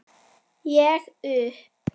Ég upp